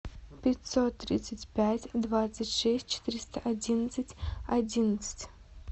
пятьсот тридцать пять двадцать шесть четыреста одиннадцать одиннадцать